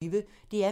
DR P1